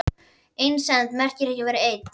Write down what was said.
Einsemd merkir ekki að vera einn.